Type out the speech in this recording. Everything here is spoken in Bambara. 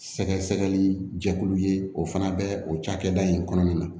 Sɛgɛsɛgɛli jɛkulu ye o fana bɛ o cakɛda in kɔnɔna na